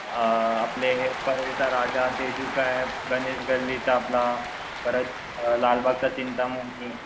अ आपले हे राजा ते गणेश गल्लीचा आपला. परत लालबागचा चिंतामणी.